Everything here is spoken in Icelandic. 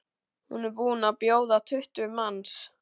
Hún er búin að bjóða tuttugu manns.